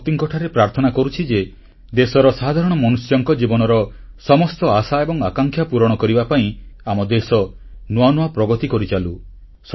ମା ଶକ୍ତିଙ୍କଠାରେ ପ୍ରାର୍ଥନା କରୁଛି ଯେ ଦେଶର ସାଧାରଣ ମଣିଷଙ୍କ ଜୀବନର ସମସ୍ତ ଆଶା ଏବଂ ଆକାଂକ୍ଷା ପୂରଣ କରିବା ପାଇଁ ଆମ ଦେଶ ନୂଆ ନୂଆ ପ୍ରଗତି କରି ଚାଲୁ